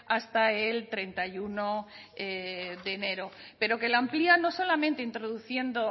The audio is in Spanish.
hasta el treinta y uno de enero pero que lo amplia no solamente introduciendo